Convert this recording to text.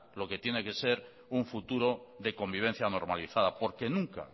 lo que tiene que ser un futuro de convivencia normalizada porque